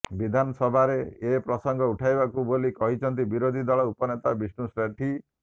ବିଧାନସଭା ରେ ଏ ପ୍ରସଙ୍ଗ ଉଠାଇବୁ ବୋଲି କହିଛନ୍ତି ବିରୋଧୀ ଦଳ ଉପନେତା ବିଷ୍ଣୁ ସେଠୀ